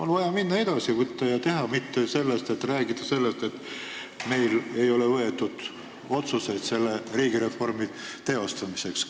On vaja edasi minna, võtta ja teha, mitte rääkida sellest, et meil ei ole võetud vastu otsuseid selle riigireformi teostamiseks.